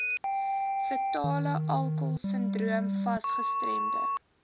fetalealkoholsindroom fas gestremde